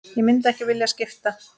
Ég myndi ekki vilja skipta.